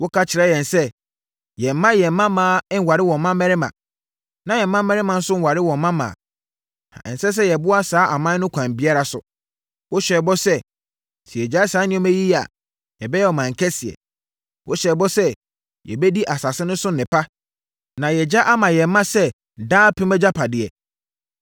Woka kyerɛɛ yɛn sɛ, yɛmmma yɛn mmammaa nnware wɔn mmammarima, na yɛn mmammarima nso nnware wɔn mmammaa, na ɛnsɛ sɛ yɛboa saa aman no kwan biara so. Wohyɛɛ bɔ sɛ, sɛ yɛgyae saa nneɛma yi yɛ a, yɛbɛyɛ ɔman kɛseɛ. Wohyɛɛ bɔ sɛ, yɛbɛdi asase no so nnepa, na yɛagya ama yɛn mma sɛ daapem agyapadeɛ.